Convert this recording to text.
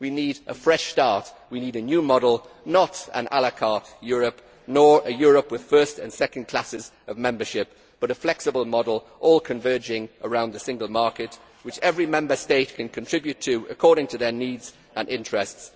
We need a fresh start we need a new model not an la carte Europe, nor a Europe with first and second classes of membership but a flexible model, all converging around the single market to which every Member State can contribute according to their needs and interests.